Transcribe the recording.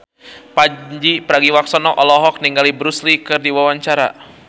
Pandji Pragiwaksono olohok ningali Bruce Lee keur diwawancara